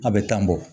A bɛ tan bɔ